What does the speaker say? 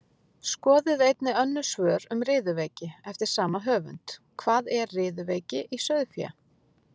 Skoðið einnig önnur svör um riðuveiki eftir sama höfund: Hvað er riðuveiki í sauðfé?